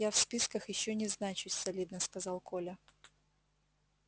я в списках ещё не значусь солидно сказал коля